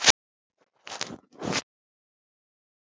Ég sjái hann.